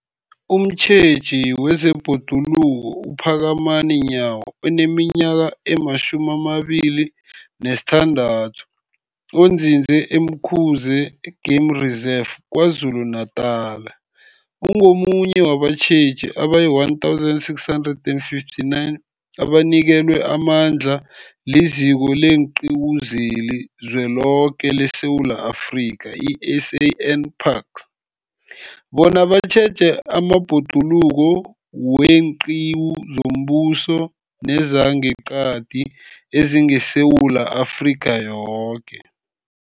Umtjheji wezeBhoduluko uPhakamani Nyawo oneminyaka ema-26, onzinze e-Umkhuze Game Reserve KwaZulu-Natala, ungomunye wabatjheji abayi-1 659 abanikelwe amandla liZiko leenQiwu zeliZweloke leSewula Afrika, i-SANParks, bona batjheje amabhoduluko weenqiwu zombuso nezangeqadi ezingeSewula Afrika yoke.